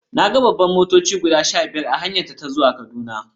Na ga babbar motoci guda sha biyar a hanyata ta zuwa Kaduna.